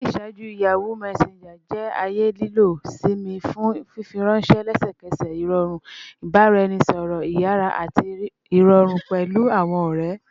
Ni iṣaaju, Yahoo Messenger jẹ aaye lilọ-si mi fun fifiranṣẹ lẹsẹkẹsẹ, irọrun ibaraẹnisọrọ iyara ati irọrun pẹlu awọn ọrẹ